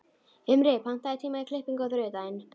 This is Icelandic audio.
Himri, pantaðu tíma í klippingu á þriðjudaginn.